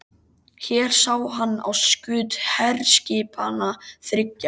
Hér sá hann á skut herskipanna þriggja.